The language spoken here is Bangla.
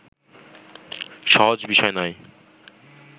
সহজ বিষয় নয়